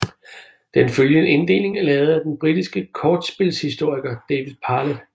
Den følgende inddeling er lavet af den britiske kortspilshistoriker David Parlett